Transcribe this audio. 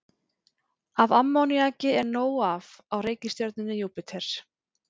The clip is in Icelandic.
Af ammoníaki er nóg af á reikistjörnunni Júpíter.